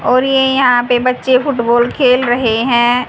और ये यहां पे बच्चे फुटबॉल खेल रहे हैं।